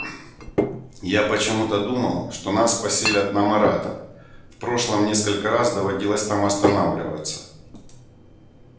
я почему-то думал что нас поселят на марата в прошлом несколько раз доводилось там останавливаться